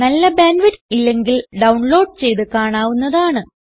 നല്ല bandwidth ഇല്ലെങ്കിൽ download ചെയ്ത് കാണാവുന്നതാണ്